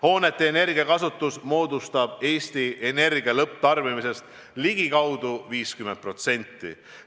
Hoonete energiakasutus moodustab Eestis energia lõpptarbimisest ligikaudu 50%.